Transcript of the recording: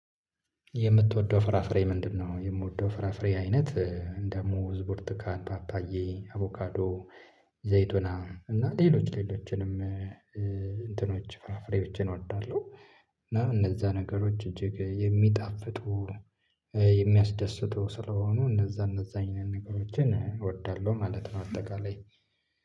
የምትወደው ፍራፍሬ ምንድነው? የምወደው ፍራፍሬ አይነት አንደ ሙዝ ቡርቱካን ፓፓዬ አቮካዶ ዘይቱና እና ሌሎች ሌሎችንም እንትኖች ፍራፍሬዎችን እወዳለሁ። እና እነዛ ነገሮች እጅግ የሚጣፍጡ የሚያስደስቱ ስለሆኑ እነዛ እነዛ አይነት ነገሮችን ነገሮችን እወዳለሁ ማለት ነው። አጠቃላይ